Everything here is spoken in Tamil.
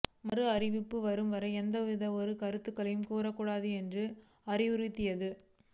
மறு அறிவிப்பு வரும்வரை எந்த ஒரு கருத்தையும் கூற கூடாது என்றும் அறிவுறுத்தியது